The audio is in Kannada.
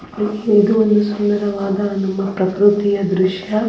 ಹ ಇದು ಒಂದು ಸುಂದರವಾದ ನಮ್ಮ ಪೃಕೃತಿಯ ದೃಶ್ಯ.